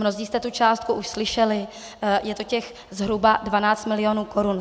Mnozí jste tu částku už slyšeli, je to těch zhruba 12 milionů korun.